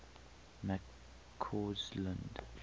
mccausland